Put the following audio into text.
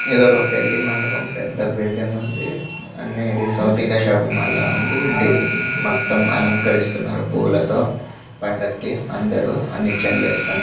ఇది ఒక పెళ్లి మండపం. పెద్ద బిల్డింగ్ ఉంది. అనేది సౌత్ ఇండియా షాపింగ్ మాల్ లా ఉంది.మొత్తం అలంకరిస్తున్నారు.పూలతో పండకి అందరూ అన్ని నిచ్చెనులు వేసుకుని--